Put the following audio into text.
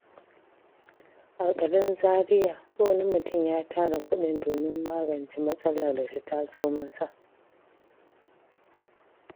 A Garin Zariya, wani mutum ya tara kudin domin magance matsalar da ta taso masa.